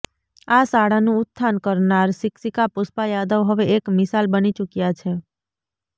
આ શાળાનું ઉત્થાન કરનાર શિક્ષિકા પુષ્પા યાદવ હવે એક મિસાલ બની ચુક્યા છે